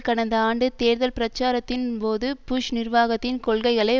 கடந்த ஆண்டு தேர்தல் பிரச்சாரத்தின்போது புஷ் நிர்வாகத்தின் கொள்கைகளை